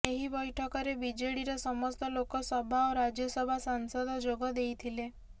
ଏହି ବୈଠକରେ ବିଜେଡିର ସମସ୍ତ ଲୋକ ସଭା ଓ ରାଜ୍ୟସଭା ସାଂସଦ ଯୋଗ ଦେଇଥିଲେ